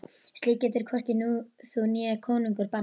Slíkt getur hvorki þú né konungur bannað.